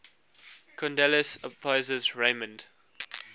kondylis opposes raymond